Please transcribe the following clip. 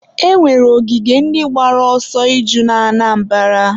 e nwere ogige ndị gbara ọsọ iju na Anambara.